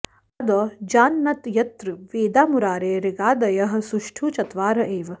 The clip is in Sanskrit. आदौ जानन्त्यत्र वेदा मुरारे ऋगादयः सुष्ठु चत्वार एव